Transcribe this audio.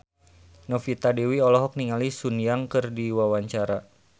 Novita Dewi olohok ningali Sun Yang keur diwawancara